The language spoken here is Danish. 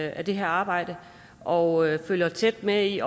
af det her arbejde og følger tæt med i